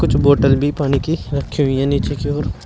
कुछ बॉटल भी पानी की रखी हुई है नीचे की ओर।